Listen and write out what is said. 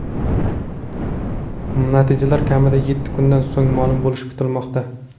Natijalar kamida yetti kundan so‘ng ma’lum bo‘lishi kutilmoqda.